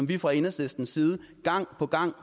vi fra enhedslistens side gang på gang